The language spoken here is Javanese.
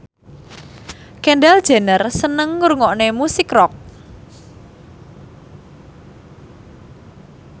Kendall Jenner seneng ngrungokne musik rock